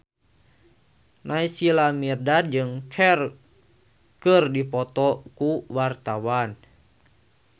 Naysila Mirdad jeung Cher keur dipoto ku wartawan